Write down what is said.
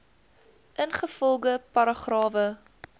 ingevolge paragrawe